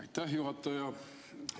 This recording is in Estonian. Aitäh, juhataja!